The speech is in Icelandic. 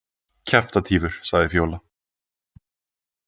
Kjaftatífur, sagði Fjóla.